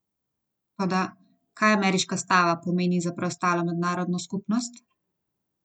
Toda, kaj ameriška stava pomeni za preostalo mednarodno skupnost?